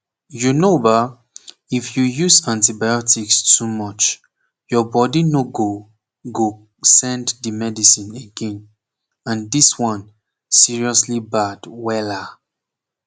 u know ba if you use antibiotics too much your body no go go send the medicine again and this one seriously bad wella